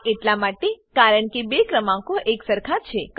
આ એટલા માટે કારણ કે બે ક્રમાંકો એકસરખા છે